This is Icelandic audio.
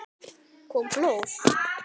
Kom blóð?